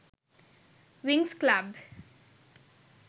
winx club